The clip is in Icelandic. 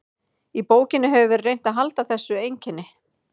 Í bókinni hefur verið reynt að halda þessu einkenni.